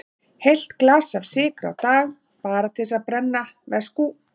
Heilt glas af sykri á dag, bara til að brenna, veskú.